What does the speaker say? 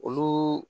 Olu